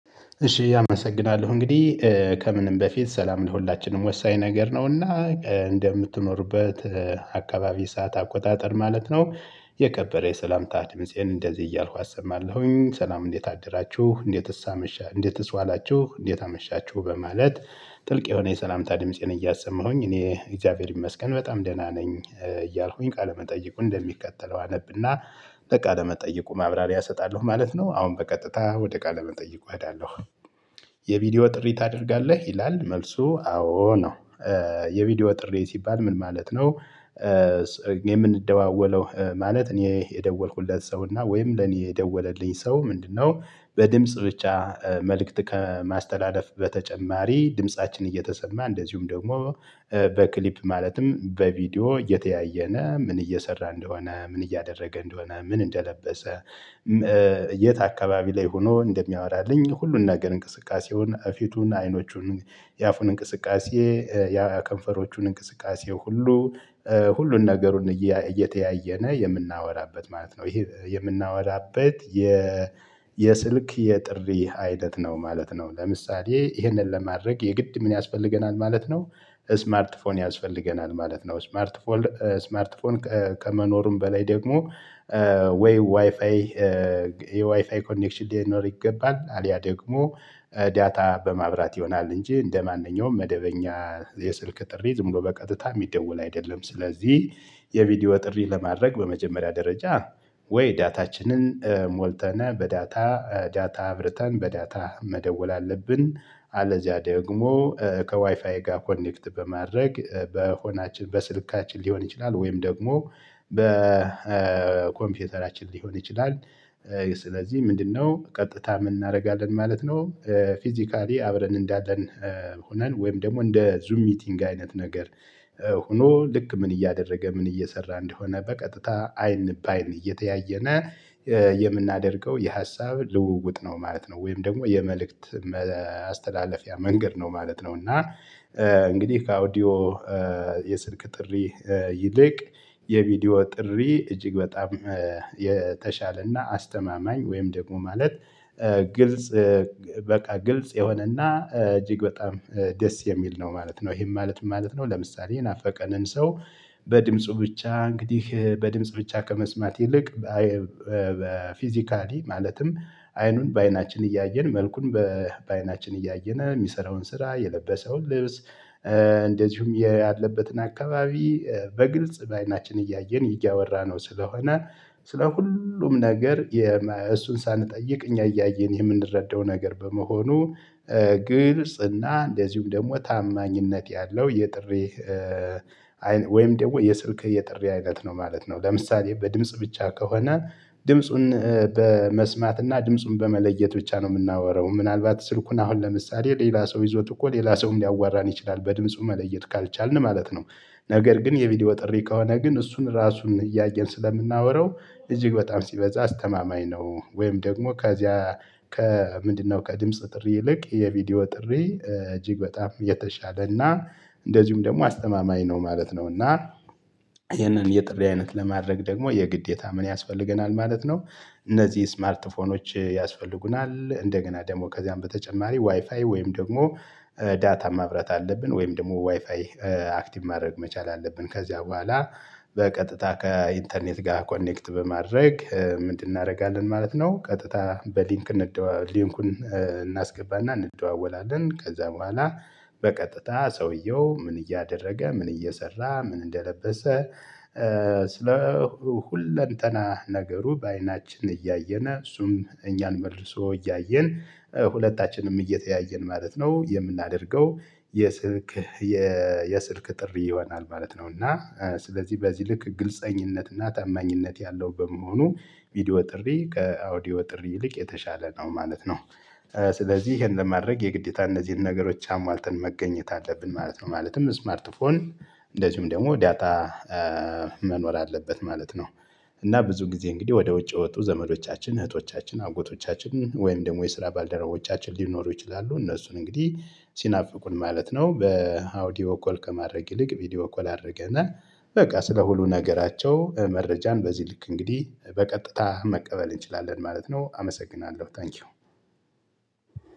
እሺ አመሰግናለሁ እንግዲህ ከምንም በፊት ሰላም ለሁላችንም ወሳኝ ነገር ነውና እንደምትኖሩበት አካባቢ ሰዓት አቆጣጠር ማለት ነው። የከበረ የሰላምታ ድምፄን እንደዚህ እያልኩ አሰማለሁኝ ሰላም እንዴት አድራችሁ እንዴትስ አመሻ እንዴትስ ዋላችሁ እንዴት አመሻችሁ በማለት። ጥልቅ የሆነ የሰላምታ ድምፄን እያሰማሁኝ እኔ እግዚአብሔር ይመስገን በጣም ደህና ነኝ እያልኩኝ ቃለመጠይቁ እንደሚከተለው አነብና ወደ ቃለ መጠይቁ ማብራሪያ እሰጣለሁ ማለት ነው። አሁን በቀጥታ ወደ ቃለም እጠይቀዋለሁ። የቪዲዮ ጥሪ ታደርጋለህ ይላል መልሱ አዎ ነው። የቪዲዮ ጥሪ ሲባል ምን ማለት ነው? የምንደዋወለው ማለት እኔ የደወልኩለት ሰውና ወይም ለኔ የደወለልኝ ሰው ምንድነው? በድምጽ ብቻ መልእክት ከማስተዳደፍ በተጨማሪ ድምፃችን እየተሰማ እንደዚሁም ደግሞ በክሊፕ ማለትም በቪዲዮ እየተያየነ ምን እየሰራ እንደሆነ ምን እያደረገ እንደሆነ ምን እንደለበሰ የት አካባቢ ላይ ሆኖ እንደሚያወራልኝ ሁሉን ነገር እንቅስቃሴውን ፊቱን አይኖቹን የአፉን እንቅስቃሴ የከንፈሮቹን እንቅስቃሴ ሁሉ ሁሉን ነገሩን እየተያየነ የምናወራበት ማለት ነው። ይሄ የምናወራበት የ የስልክ የጥሪ አይነት ነው ማለት ነው። ለምሳሌ ይሄንን ለማድረግ የግድ ምን ያስፈልገናል ማለት ነው? ስማርት ፎን ያስፈልገናል ማለት ነው። ስማርት ፎን ስማርት ፎን ከመኖሩም በላይ ደግሞ ወይ ዋይፋይ የዋይፋይ ኮኔክሽን ሊኖር ይገባል። አሊያ ደግሞ ዳታ በማብራት ይሆናል እንጂ እንደማንኛውም መደበኛ የስልክ ጥሪ ዝም ብሎ በቀጥታ የሚደወል አይደለም። ስለዚህ የቪዲዮ ጥሪ ለማድረግ በመጀመሪያ ደረጃ ወይ ዳታችንን ሞልተን በዳታ ዳታ አብርተን በዳታ መደወል አለብን። አለዚያ ደግሞ ከዋይፋይ ጋር ኮኔክት በማድረግ በሆናችን በስልካችን ሊሆን ይችላል ወይም ደግሞ በኮምፒውተራችን ሊሆን ይችላል። ስለዚህ ምንድነው ቀጥታ ምን እናደርጋለን ማለት ነው? ፊዚካሊ አብረን እንዳለን ሆነን ወይም ደግሞ እንደ ዙም ሚቲንግ አይነት ነገር ሆኖ ልክ ምን እያደረገ ምን እየሰራ እንደሆነ በቀጥታ አይን በአይን እየተያየን የምናደርገው የሀሳብ ልውውጥ ነው ማለት ነው። ወይም ደግሞ የመልእክት ማስተላለፊያ መንገድ ነው ማለት ነው። እና እንግዲህ ከአውዲዮ የስልክ ጥሪ ይልቅ የቪዲዮ ጥሪ እጅግ በጣም የተሻለና አስተማማኝ ወይም ደግሞ ማለት ግልጽ በቃ ግልጽ የሆነና እጅግ በጣም ደስ የሚል ነው ማለት ነው። ይሄን ማለት ምን ማለት ነው? ለምሳሌ የናፈቀንን ሰው በድምጹ ብቻ እንግዲህ በድምጽ ብቻ ከመስማት ይልቅ በ ፊዚካሊ ማለትም አይኑን በአይናችን እያየን መልኩን በአይናችን እያየን የሚሰራውን ስራ የለበሰውን ልብስ እንደዚሁም ያለበትን አካባቢ በግልጽ በአይናችን እያየን ይያወራንው ስለሆነ ስለ ሁሉም ነገር እሱን ሳንጠይቅ እኛ እያየን የምንረዳው ነገር በመሆኑ። ግልጽ እና እንደዚሁም ደግሞ ታማኝነት ያለው የጥሪ ወይም ደግሞ የስልክ የጥሪ አይነት ነው ማለት ነው። ለምሳሌ በድምጽ ብቻ ከሆነ ድምጹን በመስማት እና ድምጹን በመለየት ብቻ ነው የምናወራው ምናልባት ስልኩን አሁን ለምሳሌ ሌላ ሰው ይዞት እኮ ሌላ ሰውም ሊያዋራን ይችላል በድምፁ መለየት ካልቻልን ማለት ነው። ነገር ግን የቪዲዮ ጥሪ ከሆነ ግን እሱን ራሱን እያየን ስለምናወራው እጅግ በጣም ሲበዛ አስተማማኝ ነው። ወይም ደግሞ ከዚያ ከምንድነው ከድምጽ ጥሪ ይልቅ የቪዲዮ ጥሪ እጅግ በጣም የተሻለ እና እንደዚሁም ደግሞ አስተማማኝ ነው ማለት ነው። እና ይህንን የጥሪ አይነት ለማድረግ ደግሞ የግዴታ ምን ያስፈልገናል ማለት ነው? እነዚህ ስማርትፎኖች ያስፈልጉናል እንደገና ደግሞ ከዚያም በተጨማሪ ዋይፋይ ወይም ደግሞ ዳታ ማብራት አለብን ወይም ደግሞ ዋይፋይ አክቲቭ ማድረግ መቻል አለብን ከዚያ በኋላ በቀጥታ ከኢንተርኔት ጋር ኮኔክት በማድረግ ምንድን እናደርጋለን ማለት ነው? ቀጥታ በሊንክ እንደው ሊንኩን እናስገባና እንደዋወላለን ከዛ በኋላ በቀጥታ ሰውየው ምን እያደረገ ምን እየሰራ ምን እንደለበሰ ስለ ሁለንተና ነገሩ በአይናችን እያየን እሱም እኛን መልሶ እያየን ሁለታችንም እየተያየን ማለት ነው የምናደርገው። የስልክ የስልክ ጥሪ ይሆናል ማለት ነው። እና ስለዚህ በዚህ ልክ ግልፀኝነት እና ታማኝነት ያለው በመሆኑ ቪዲዮ ጥሪ ከአውዲዮ ጥሪ ይልቅ የተሻለ ነው ማለት ነው። ስለዚህ ይሄን ለማድረግ የግዴታ እነዚህን ነገሮች አሟልተን መገኘት አለብን ማለት ነው። ማለትም ስማርት ፎን እንደዚሁም ደግሞ ዳታ መኖር አለበት ማለት ነው። እና ብዙ ጊዜ እንግዲህ ወደ ውጭ የወጡ ዘመዶቻችን እህቶቻችን አጎቶቻችን ወይም ደግሞ የስራ ባልደረቦቻችን ሊኖሩ ይችላሉ። እነሱን እንግዲህ ሲናፍቁን ማለት ነው በአውዲዮ ኮል ከማድረግ ይልቅ ቪዲዮ ኮል አድርገን በቃ ስለ ሁሉ ነገራቸው መረጃን በዚህ ልክ እንግዲህ በቀጥታ መቀበል እንችላለን ማለት ነው። አመሰግናለሁ ታንኪው።